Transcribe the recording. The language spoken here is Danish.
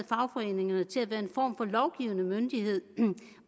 fagforeningerne til at være en form for lovgivende myndighed